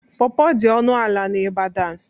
Pọrpọr dị ọnụ ala n'Ibadan.